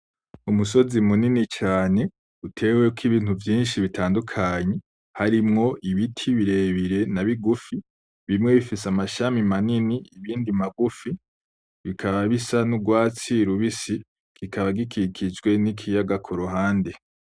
Umusozi munini cane uteweko ibintu vyinshi bitandukanye harimwo ibiti birebire na bigufi, bimwe bifise amashami manini ibindi magufi, bikaba bisa n'urwatsi rubisi gikaba gikikijwe n'ikiyaga kuruhande.